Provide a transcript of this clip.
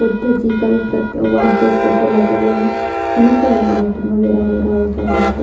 बुद्ध की कलप्रत वहाँ पे फोटो लगा हुआ है उन्ही का व मीटिंग वागेरा हो रहा होगा वहाँ पे--